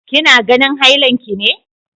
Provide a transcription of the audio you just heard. Kina ganin hailan ki ne!